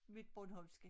Mit bornholmske